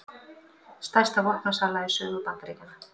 Stærsta vopnasala í sögu Bandaríkjanna